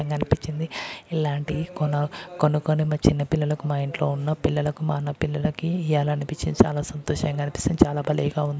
అనిపించింది. ఇలాంటివి కొన కొనుకుని మ చిన్న పిల్లలకు మా ఇంట్లో ఉన్న పిల్లలకు మా అన్న పిల్లలకి ఇయ్యాలి అనిపించింది. చాలా సంతోషంగా అనిపిస్తుంది. చాలా భలేగా ఉంది.